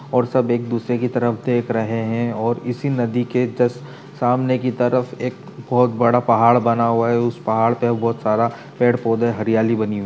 और सब एक दूसरे की तरफ देख रहे हैं और इसी नदी के जस्ट सामने की तरफ एक बहुत बड़ा पहाड़ बना हुआ है। उस पहाड़ पर बहुत सारा पेड़ पौधे हरियाली बनी हुई --